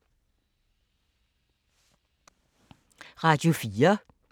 Radio 4